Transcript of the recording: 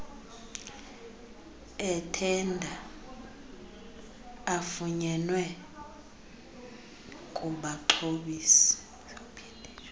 ethenda afunyenwe kubaxhobisi